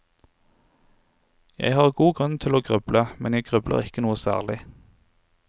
Jeg har god tid til å gruble, men jeg grubler ikke noe særlig.